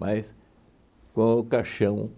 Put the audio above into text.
Mas com o caixão